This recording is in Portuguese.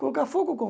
Colocar fogo como?